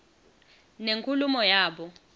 nenkulumo yabo